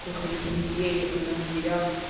плохо на сиденьях и на дверях